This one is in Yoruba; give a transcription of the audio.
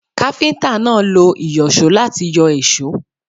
Káfíntà náà lo ìyọ̀só láti yọ èsó.